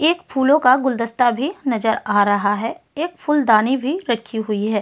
एक फूलों का गुलदस्ता भी नजर आ रहा है एक फूलदानी भी रखी हुई है।